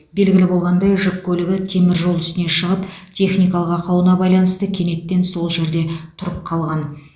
белгілі болғандай жүк көлігі темір жол үстіне шығып техникалық ақауына байланысты кенеттен сол жерде тұрып қалған